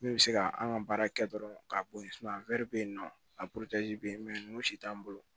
Min bɛ se ka an ka baara kɛ dɔrɔn k'a bɔ yen bɛ yen nɔ a bɛ yen ninnu si t'an bolo